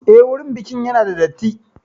Eh, wurin bikin ya na da datti